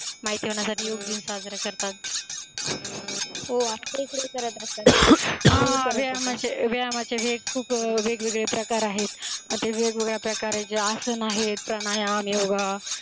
माहिती होण्यासाठी योग दिन साजरा करतात हो आपल्या इकडं हि करत असतात, हा व्यायामाचे व्यायामाचे खूप वेगळे वेगळे प्रकार आहेत आता वेगवेगळ्या प्रकारांचे आसन आहेत प्राणायाम योगा